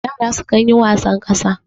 yara sukan ya wasan kasa